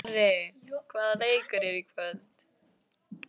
Snorri, hvaða leikir eru í kvöld?